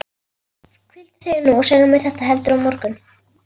Hvíldu þig nú og segðu mér þetta heldur á morgun.